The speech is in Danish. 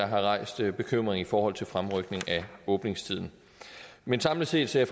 har rejst bekymring i forhold til fremrykning af åbningstiden men samlet set ser